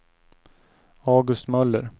August Möller